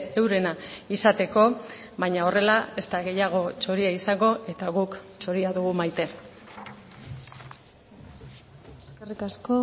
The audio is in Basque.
eurena izateko baina horrela ez da gehiago txoria izango eta guk txoria dugu maite eskerrik asko